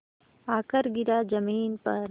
आकर गिरा ज़मीन पर